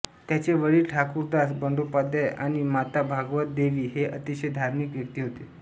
त्यांचे वडील ठाकूरदास बांडोपाध्याय आणि माता भगवत देवी हे अतिशय धार्मिक व्यक्ती होते